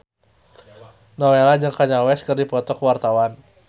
Nowela jeung Kanye West keur dipoto ku wartawan